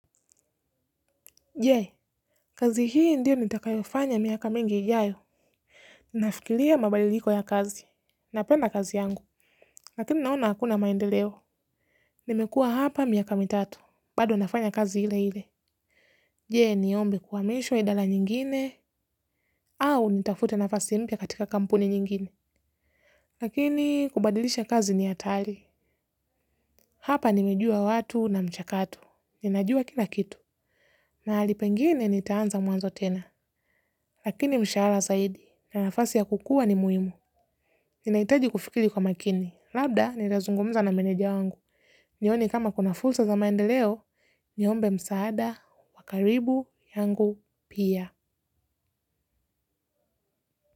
Je, kazi hii ndio nitakayofanya miaka mingi ijayo. Nafikiria mabadiliko ya kazi. Napenda kazi yangu. Lakini naona hakuna maendeleo. Nimekua hapa miaka mitatu. Bado nafanya kazi ile ile. Jee, niombe kwamishwa idala nyingine. Au nitafute nafasi mpya katika kampuni nyingine. Lakini, kubadilisha kazi ni hatari. Hapa nimejua watu na mchakato. Ninajua kila kitu. Mahalipengine nitaanza mwanzo tena. Lakini mshahara zaidi. Na nafasi ya kukua ni muimu ninaitaji kufikiri kwa makini labda nitazungumza na maneja wangu. Nione kama kuna fulsa za maendeleo. Niombe msaada. Wakaribu yangu pia.